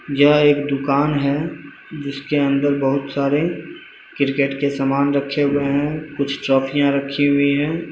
यहां एक दुकान है जिसके अंदर बहुत सारे क्रिकेट के सामान रखे हुआ है कुछ चौकियाँ रखी हुई है।